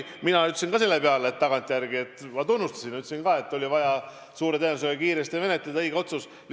Mina ütlesin selle peale, et tagantjärele ma tunnistan ka, et suure tõenäosusega oli siis vaja kiiresti menetleda, et see oli õige otsus.